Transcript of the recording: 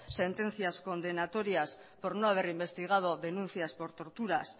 sentencias condenatorias por no haber investigado denuncias por torturas